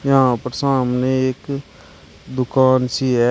यहां पर सामने एक दुकान सी है।